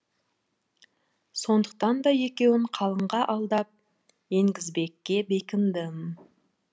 сондықтан да екеуін қалыңға алдап енгізбекке бекіндім